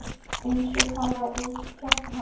Eins og talað úr hans hjarta.